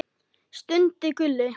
stundi Gulli.